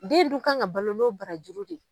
Den dun kan ka balo no barajuru de ye.